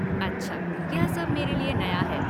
अच्छा, यह सब मेरे लिए नया है।